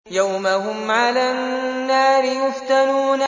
يَوْمَ هُمْ عَلَى النَّارِ يُفْتَنُونَ